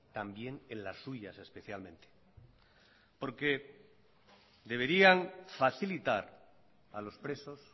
también en las suyas especialmente porque deberían facilitar a los presos